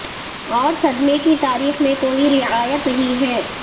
اور صدمے کی تاریخ میں کوئی رعایت نہیں ہیں